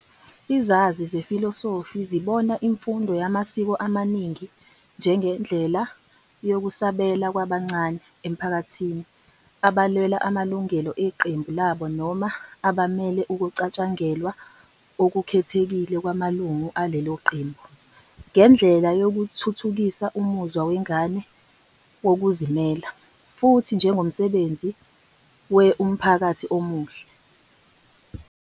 Izazi zefilosofi zibona imfundo yamasiko amaningi njengendlela yokusabela kwabancane emphakathini abalwela amalungelo eqembu labo noma abamele ukucatshangelwa okukhethekile kwamalungu alelo qembu, njengendlela yokuthuthukisa umuzwa wengane wokuzimela, futhi njengomsebenzi we umphakathi omuhle.